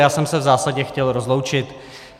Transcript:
Já jsem se v zásadě chtěl rozloučit.